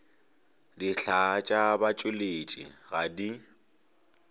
dihlaa tša batšweletši ga di